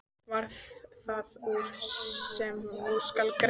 Varð það úr, sem nú skal greina.